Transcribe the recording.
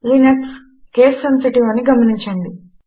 Linux case sensitive అని గమనించండి